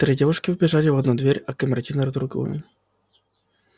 три девушки вбежали в одну дверь а камердинер в другую